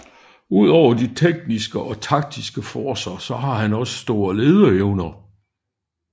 Udover de tekniske og taktiske forcer så har han også store lederevner